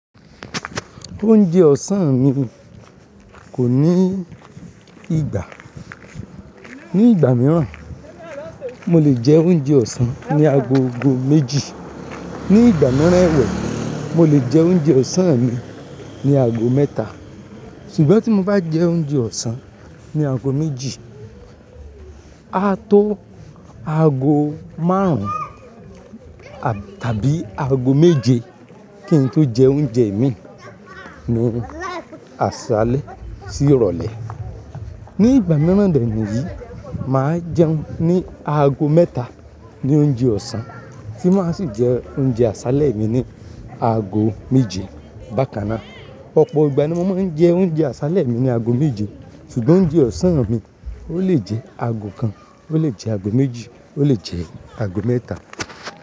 Oúnjẹ ọ̀sán mi kò ní ìgbà. Ni ìgbà mìíràn, mo lè jẹ oúnjẹ ọ̀sán ní aago gó méjì. Ni ìgbà mìíràn ẹ̀wẹ̀, mo lè jẹ oúnjẹ ọ̀sán mi ní aago mẹ́ta. Ṣùgbọ́n tí mo bá jẹ oúnjẹ ọ̀sán ní aago méjì, a tó aago márùn-ún tàbí aago méje kí n tó jẹ oúnjẹ mi ní àsálẹ́ sí ìrọ̀lẹ́. Ni ìgbà mìíràn de ni yìí, màá jẹun ní aago mẹ́ta ní oúnjẹ ọ̀sán, sì máa sì jẹ oúnjẹ àsálẹ́ mi ní aago méje bákan náà. Ọ̀pọ̀ ìgbà ni mo mà ń jẹ oúnjẹ àsálẹ́ mi ní ago méje ṣùgbọ́n oúnjẹ ọ̀sán mi ó lè jẹ́ ago kan ó lè jẹ́ ago mẹ́ta.